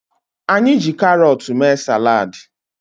Anyị jiri carọọtụ mee salad